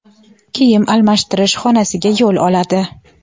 kiyim almashtirish xonasiga yo‘l oladi.